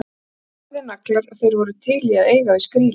Þetta voru harðir naglar og þeir voru til í að eiga við skrílinn.